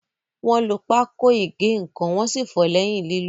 Wọ́n lo pákó ígè ǹkan wọ́n sì fọ̀ọ́ lẹ́yìn lílò.